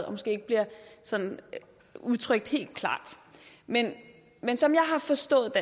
og måske ikke bliver sådan udtrykt helt klart men men som jeg har forstået